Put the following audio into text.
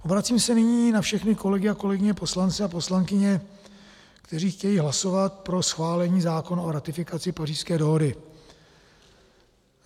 Obracím se nyní na všechny kolegy a kolegyně poslance a poslankyně, kteří chtějí hlasovat pro schválení zákona o ratifikaci Pařížské dohody.